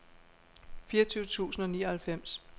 fireogtyve tusind og nioghalvfems